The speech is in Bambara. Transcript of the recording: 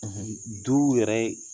Du yɛrɛ